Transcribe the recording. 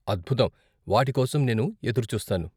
అద్భుతం, వాటికోసం నేను ఎదురుచూస్తాను.